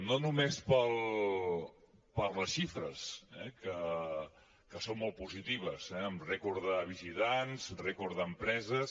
no només per les xifres eh que són molt positives amb rècord de visitants rècord d’empreses